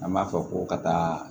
An b'a fɔ ko ka taa